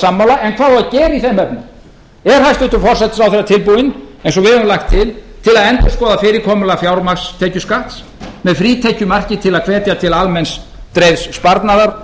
sammála en hvað á að gera í þeim efnum er hæstvirtur forsætisráðherra tilbúinn eins og við höfum lagt til til þess að endurskoða fyrirkomulag fjármagnstekjuskatts með frítekjumarki til að hvetja til almenns dreifðs sparnaðar